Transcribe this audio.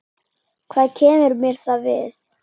Hvað kemur mér það við?